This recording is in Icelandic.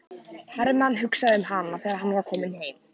Hermann hugsaði um hana þegar hann var kominn heim.